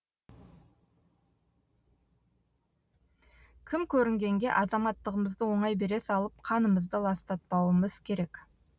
кім көрінгенге азаматтығымызды оңай бере салып қанымызды ластатпауымыз керек